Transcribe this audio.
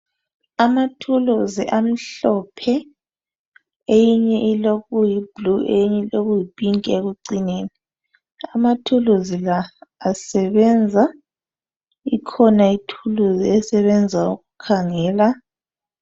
Amathulusi amhlophe eyinye ilokuyibhulu eyinye ilokuyiphinki ekucineni , amathulusi la asebenza , ikhona ithulusi esebenza ukukhangela.